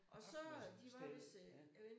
Arfmannssennep ja